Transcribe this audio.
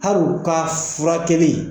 Hari u ka furakɛli